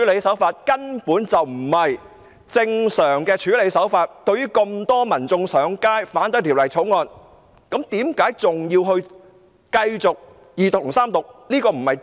這根本不是正常的處理手法，這麼多民眾上街反對《條例草案》，為何特首還要繼續二讀和三讀？